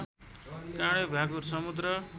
काँडे भ्याकुर समुद्र